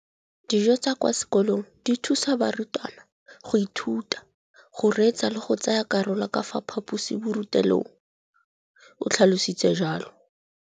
Dijo tsa kwa sekolong dithusa barutwana go ithuta, go reetsa le go tsaya karolo ka fa phaposiborutelong, o tlhalositse jalo.